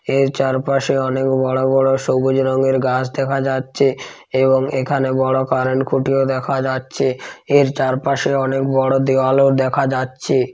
এর চার পাশে বড়ো বড়ো সবুজ রঙের গাছ দেখা যাচ্ছে এবং এখানে বড় কারেন্ট খুঁটিও দেখা যাচ্ছে। এর চারপাশে অনেক বড় দেওয়াল ও দেখা যাচ্ছে।